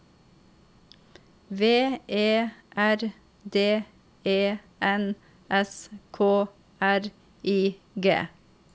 V E R D E N S K R I G